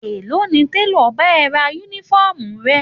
Èló ni télọ̀ bá ẹ rán Únífọ́ọ̀mù rẹ?